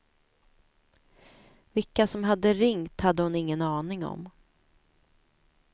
Vilka som hade ringt hade hon ingen aning om.